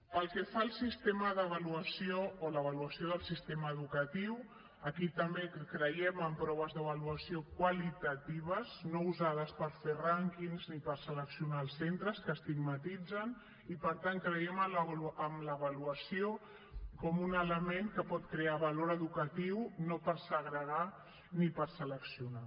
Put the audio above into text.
pel que fa al sistema d’avaluació o l’avaluació del sistema educatiu aquí també creiem en proves d’avaluació qualitatives no usades per fer rànquings ni per seleccionar els centres que estigmatitzen i per tant creiem en l’avaluació com un element que pot crear valor educatiu no per segregar ni per seleccionar